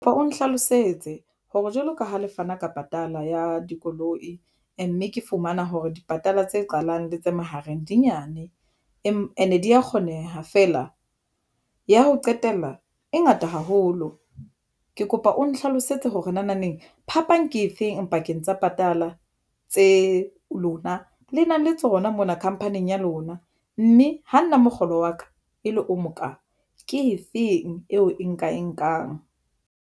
Ba o nhlalosetse hore jwalo ka ha le fana ka patala ya dikoloi, mme ke fumana hore dipatala tse qalang le tse mahareng dinyane ane di ya kgoneha feela ya ho qetela e ngata haholo. Ke kopa o nhlalosetse hore naneng phapang ke efeng pakeng tsa patala tse lona le nang le tsona mona khampaning ya lona, mme ho nna mokgolo wa ka e le o moka. Ke efeng eo e nka e nkang?